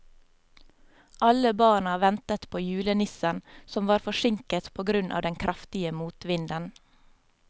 Alle barna ventet på julenissen, som var forsinket på grunn av den kraftige motvinden.